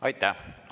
Aitäh!